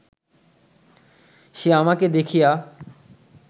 কে আমাকে দেখিয়া